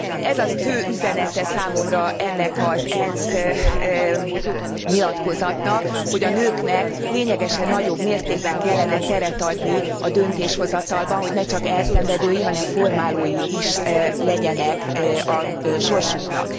Ez a fő üzenete számomra ennek az ENSZ nyilatkozatnak, hogy a nőknek lényegesen nagyobb mértékben kellene teret adni a döntéshozatalban, hogy ne csak elszenvedői, hanem formálói is legyenek a sorsuknak.